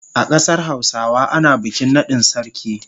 A kasar Hausawa ana bikin nadin sarki.